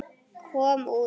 kom út.